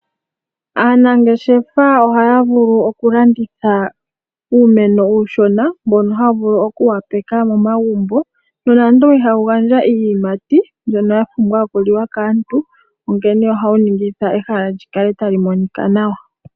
Aanangeshefa ohaya vulu okulanditha uumeno uushona mboka hawu vulu okuwapeka momagumbo nonando ihawu gandja iiyimati mbyono yapumbiwa okuliwa kaantu onkene ohawu ningitha ehala likale tali monika nawa.